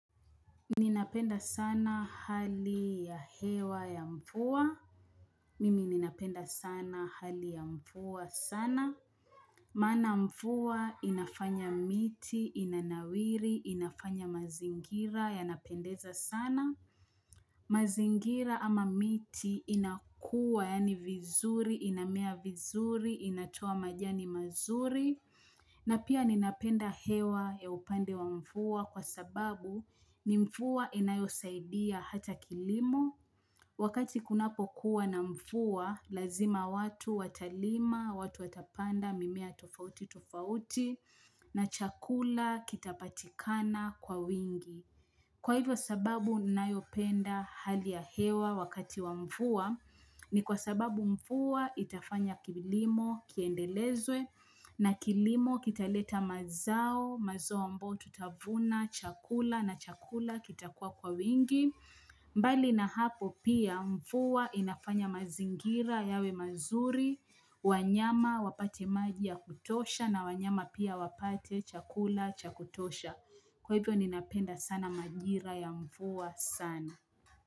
Ninapenda sana hali ya hewa ya mvua mimi ninapenda sana hali ya mvua sana, maana mvua inafanya miti, inanawiri, inafanya mazingira, yanapendeza sana, mazingira ama miti inakua, yaani vizuri, inamea vizuri, inatoa majani mazuri na pia ninapenda hewa ya upande wa mvua kwa sababu ni mvua inayo saidia hata kilimo. Wakati kunapo kuwa na mvua, lazima watu watalima, watu watapanda, mimea tofauti tofauti, na chakula kitapatikana kwa wingi. Kwa hivyo sababu ninayopenda hali ya hewa wakati wa mvua ni kwa sababu mvua itafanya kilimo kiendelezwe na kilimo kitaleta mazao mazo ambao tutavuna chakula na chakula kita kuwa kwa wingi. Mbali na hapo pia mvua inafanya mazingira yawe mazuri wanyama wapate maji ya kutosha na wanyama pia wapate chakula cha kutosha Kwa hivo ninapenda sana majira ya mvua sana.